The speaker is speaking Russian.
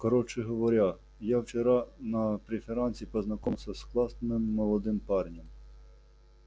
короче говоря я вчера на преферансе познакомился с классным молодым парнем